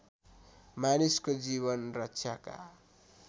मानिसको जीवन रक्षाका